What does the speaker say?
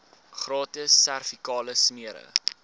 gratis servikale smere